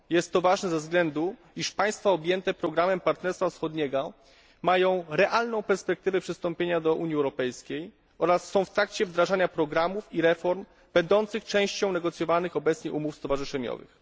Jest to ważne ze względu na to, iż państwa objęte programem Partnerstwa Wschodniego mają realną perspektywę przystąpienia do Unii Europejskiej oraz są w trakcie wdrażania programów i reform będących częścią negocjowanych obecnie umów stowarzyszeniowych.